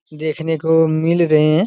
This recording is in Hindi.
देखने को मिल रहे हैं।